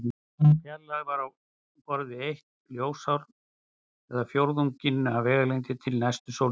Sú fjarlægð er á borð við eitt ljósár eða fjórðunginn af vegalengdinni til næstu sólstjörnu.